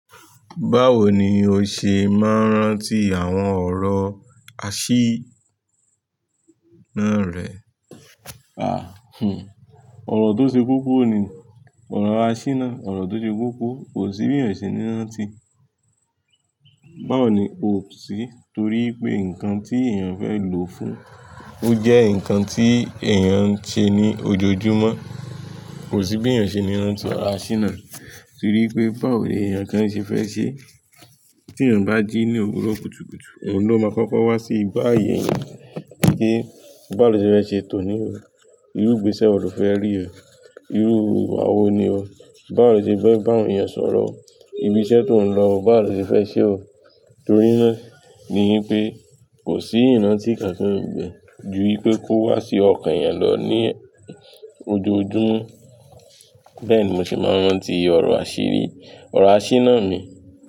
Báwo ni oṣe máa ń rántí àwọn ọ̀rọ̀ àṣírí ná rẹ̀? Àh, hmm. Ọ̀rọ̀ tó ṣe kokọ̀ ni ọ̀rọ̀ àṣínà. Ọ̀rọ̀ tó ṣe kokọ̀. Kòsí bí èèyàn ṣe ní rántí. Báwoni o sì? Torí pé nǹkan tí èèyàn fẹ́ lò fún, ójẹ́ nǹkan tí èèyàn ń ṣe ní ojoojúmọ́. Kò sí bí èèyàn o ṣe ní rántí ọ̀rọ̀ àṣínà. Torí pé báwo ni èèyàn gan ṣe fẹ́ ṣe? Tí èèyàn bá jí ní òwúrọ̀ kùtùkùtù, òun ló máa kọ́kọ́ wá sí ìgbà ayé èèyàn. Kí bá wo lo ṣe fẹ́ ṣe tòní ò. Irú ìgbésẹ̀ wo lo fẹ́ rí ò. Irú ìwà wo ni ọ. Báwo lo ṣe fẹ́ bá àwọn èèyàn sọ̀rọ̀ o. Ibi iṣẹ́ tí ò ń lọ, báwo lo ṣe fẹ́ ṣe ò. Torí náà ni wipé kò sí ìrántí kankan ni bè bé ju wipé kó wá sí ọkàn èèyàn lọ ní ojoojúmọ́. Bẹ́ẹ̀ni mo ṣe máa ń rántí ọ̀rọ̀ àṣírí, ọ̀rọ̀ àṣíná ni.